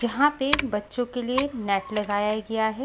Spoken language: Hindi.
यहां पे बच्चों के लिए नेट लगाया गया है।